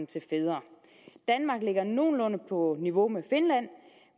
til fædre danmark ligger nogenlunde på niveau med finland